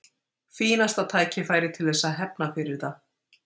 Fínasta tækifæri til þess að hefna fyrir það.